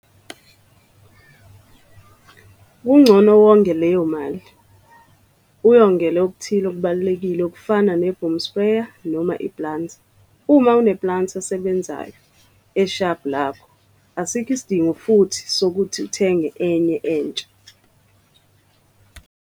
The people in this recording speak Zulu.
Kungcono wonge leyo mali, uyongele okuthile okubalulekile okufana neboom sprayer noma iplanter. Uma uneplanter esebenzayo eshabhu lakho, asikho isidingo futhi sokuthi uthenge enye entsha.